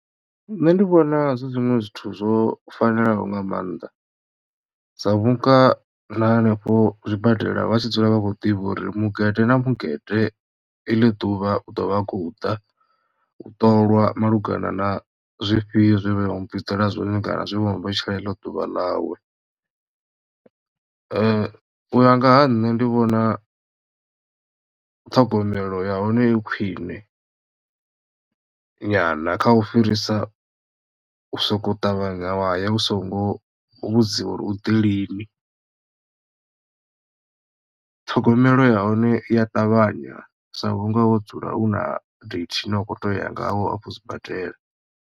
Nṋe ndi vhona zwi zwiṅwe zwithu zwo fanelaho nga maanḓa sa vhunga na henefho zwibadela vha tshi dzula vha khou ḓivha uri mugede na mugede iḽi ḓuvha u ḓo vha a khou ḓa u ṱolwa malugana na zwifhio zwe vha mu vhudzela zwone kana zwe vha mu vhetshela eḽo ḓuvha nawo u ya nga ha nṋe ndi vhona ṱhogomelo ya hone i khwine nyana kha u fhirisa u sokou ṱavhanya wa ya u songo vhudziwa uri u ḓi lini ṱhogomelo ya hone iya ṱavhanya sa vhunga wo dzula u na date ine wa kho to ya ngayo afho sibadela.